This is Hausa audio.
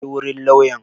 Je wurin lauyan!